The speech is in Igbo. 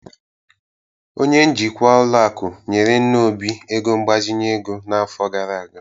Onye njikwa ụlọ akụ nyere nna Obi ego mgbazinye ego n'afọ gara aga